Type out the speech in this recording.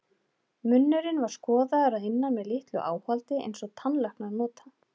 Munnurinn var skoðaður að innan með litlu áhaldi einsog tannlæknar nota.